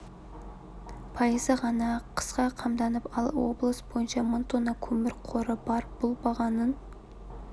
пайызы ғана қысқа қамданып алған ал облыс бойынша мың тонна көмір қоры бар бұл бағаның